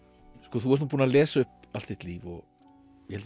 þú ert búinn að lesa upp allt þitt líf og ég held